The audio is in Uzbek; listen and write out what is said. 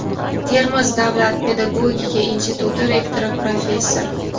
Termiz davlat pedagogika instituti rektori, professor;.